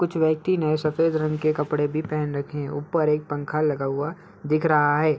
कुछ व्यक्ति ने सफ़ेद रंग के कपड़े भी पहन रखे है| ऊपर एक पंख लगा हुआ दिख रहा है।